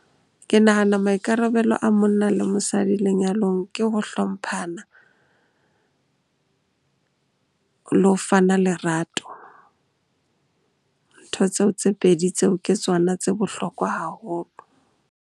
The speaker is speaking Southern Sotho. Ke nahana maikarabelo a monna le mosadi lenyalong ke ho hlomphana le ho fana lerato. Ntho tseo tse pedi tseo ke tsona tse bohlokwa haholo.